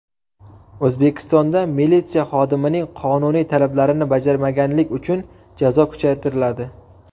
O‘zbekistonda militsiya xodimining qonuniy talablarini bajarmaganlik uchun jazo kuchaytiriladi.